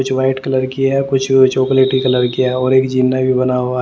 जो white colour की है कुछ चॉकलेटी कलर किया है और एक जिन्ना भी बना हुआ--